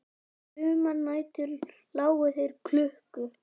Sumar nætur lágu þeir klukku